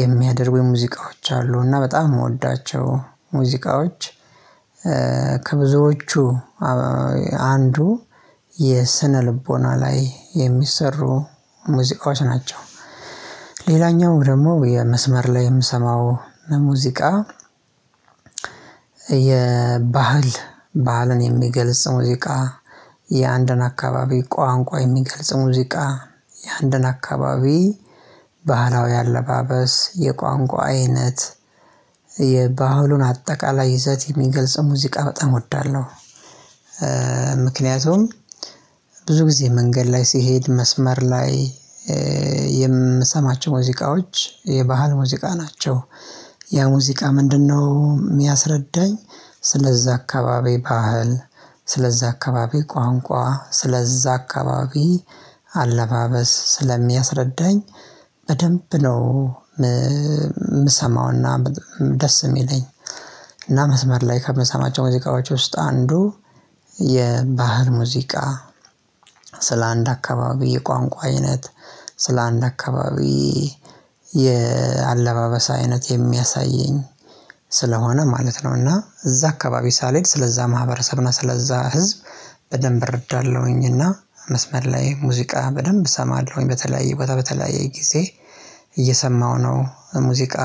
የሚያደርጉኝ የሙዚቃዎች አሉ እና በጣም የምወዳቸው ሙዚቃዎች። ከብዙዎቹ አንዱ የስነ ልቦና ላይ የሚሰሩ ሙዚቃዎች ናቸው። ሌላኛው ደግሞ የመስመር ላይ የምሰማው ሙዚቃ የባህል ባህልን የሚገልጽ ሙዚቃ የአንድን አካባቢ ቋንቋ የሚገልጽ ሙዚቃ የአንድን አካባቢ ባህላዊ አለባበስ የቋንቋ አይነት የባህሉን አጠቃላይ ይዘት የሚገልጽ ሙዚቃ በጣም እወዳለሁ። ምክንያቱም ብዙ ጊዜ መንገድ ላይ ሲሄድ መስመር ላይ የምሰማቸው ሙዚቃዎች የባህል ሙዚቃ ናቸው። ያ ሙዚቃ ምንድነው? የሚያስረዳኝ ስለዛ አካባቢ ባህል ስለዛ አካባቢ ቋንቋ ስለዛ አካባቢ አለባበስ ስለሚያስረዳኝ በደንብ ነው። የምሰማውና ደስ የሚለኝ እና መስመር ላይ ከምንሰማቸው ሙዚቃዎች ውስጥ አንዱ የባህል ሙዚቃ። ስለአንድ አካባቢ የቋንቋ አይነት ስለአንድ አካባቢ የአለባበሳ አይነት የሚያሳየኝ ስለሆነ ማለት ነው እና እዛ አካባቢ ሳልሄድ ስለዛ ማህበረሰብ እና ስለዛ ህዝብ በደንብ እረዳለሁኝ። እና መስመር ላይ ሙዚቃ በደንብ እሰማለሁኝ በተለያየ ቦታ በተለያየ ጊዜ እየሰማሁ ነው ሙዚቃ።